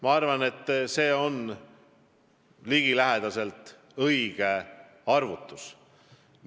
Ma arvan, et see on ligilähedaselt õige arvutus.